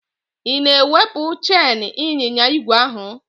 Ị na-ewepụ cheịn ịnyịnya igwe ahụ?